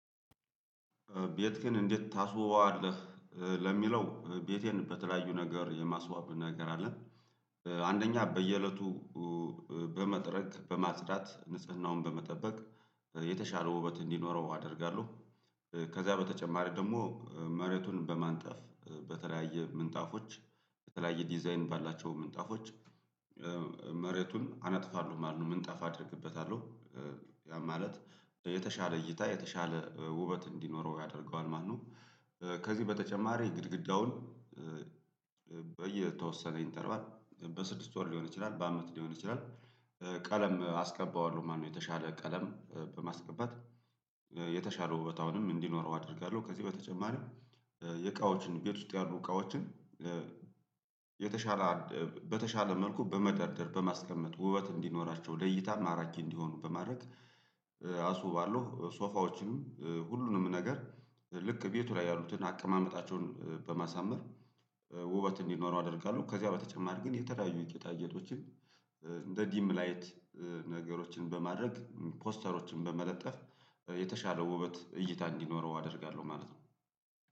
ቤትክን እንዴት ታስውበዋለህ ለሚለው ቤቴን በተለያዩ ነገር የማስወዋብ ነገር አለ አንደኛ በየእለቱ በመጥረግ በማጽዳት ንጽህናውን በመጠበቅ የተሻለ ውበት እንዲኖረው አደርጋለሁ ከዛ በተጨማሪ ደግሞ መሬቱን በማንጠፍ በተለያየ ምንጣፎች በተለያየ ዲዛይን ባላቸው ምንጣፎች መሬቱን አነጥፋለሁ ማለት ነው ምንጣፍ አደርግበታለሁ። ያ ማለት የተሻለ እይታ የተሻለ ውበት እንዲኖረው ያደርገዋል ማለት ነው ከዚህ በተጨማሪ ግድግዳውን በየተወሰነ ኢንተርቫል በስድስት ወር ሊሆን ይችላል በአመት ሊሆን ይችላል ቀለም አስቀባዋለሁ ማለት ነው የተሻለ ቀለም በማስቀባት የተሻለ ውበት አሁንም እንዲኖረው አደርጋለሁ ከዚህ በተጨማሪም የእቃዎችን ቤት ውስጥ ያሉ እቃዎችን የተሻለ በተሻለ መልኩ በመደርደር በማስቀመጥ ውበት እንዲኖራቸው ለእይታ ማራኪ እንዲሆኑ በማድረግ አስውባለሁ ሶፋዎችንም ሁሉንም ነገር ልክ ቤቱ ላይ ያሉትን አቀማመጣቸውን በማሳመር ውበት እንዲኖረው አደርጋለሁ ከዚያ በተጨማሪ ግን የተለያዩ የጌጣ ጌጦችን እንደ ዲም ላይት ነገሮችን በማድረግ ፖስተሮችን በመለጠፍ የተሻለው ውበት እይታ እንዲኖረው አደርጋለሁ ማለት ነው